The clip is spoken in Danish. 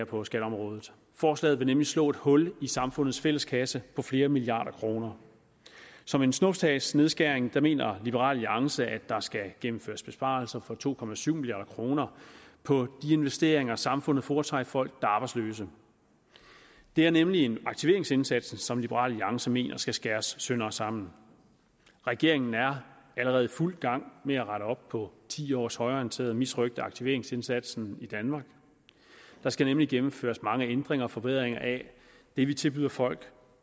på skatteområdet forslaget vil nemlig slå et hul i samfundets fælles kasse på flere milliarder kroner som en snuptagsnedskæring mener liberal alliance at der skal gennemføres besparelser for to milliard kroner på de investeringer samfundet foretager i folk er arbejdsløse det er nemlig aktiveringsindsatsen som liberal alliance mener skal skæres sønder og sammen regeringen er allerede i fuld gang med at rette op på ti års højreorienteret misrøgt af aktiveringsindsatsen i danmark der skal nemlig gennemføres mange ændringer og forbedringer af det vi tilbyder folk